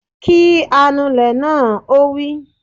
Kí anulẹ̀ náà! Ó wí